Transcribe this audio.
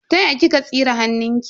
Ta ya kika tsire hannunki?